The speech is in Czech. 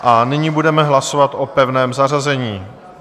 A nyní budeme hlasovat o pevném zařazení.